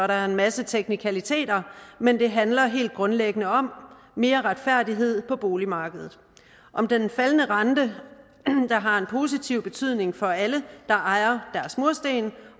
der en masse teknikaliteter men det handler helt grundlæggende om mere retfærdighed på boligmarkedet om den faldende rente der har en positiv betydning for alle der ejer deres mursten